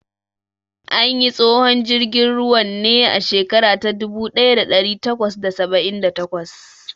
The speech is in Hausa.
An yi tsohon jirgin ruwan ne a shekara ta dubu ɗaya da ɗari takwas da saba'in da takwas.